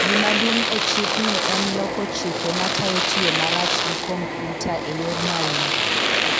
Gima duong e chikni en loko chike matayo tiyo marach gi kompyuta eyor maundu